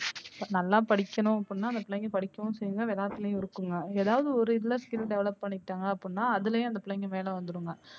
நல்லா படிக்கனும் அப்படினா அந்த பிள்ளைங்க படிக்கவும் செய்யுங்க விளையாட்லையும் இருக்குங்க ஏதாவது ஒரு இதுல skill develop பண்ணிட்டாங்க அப்படினா அதுலையும் அந்த பிள்ளைங்க மேல வந்த்திருங்க.